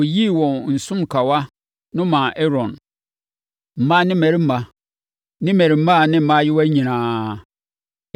Wɔyiyii wɔn nsonkawa no maa Aaron—mmaa ne mmarima ne mmarimaa ne mmaayewa nyinaa.